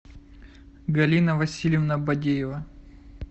галина васильевна бадеева